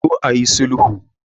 Ku zo ayi sulhu.